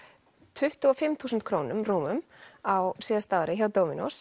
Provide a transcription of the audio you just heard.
tuttugu og fimm þúsund krónum rúmum á síðasta ári hjá